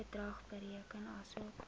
bedrag bereken asof